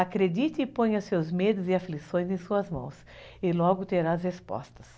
Acredite e ponha seus medos e aflições em suas mãos e logo terás respostas.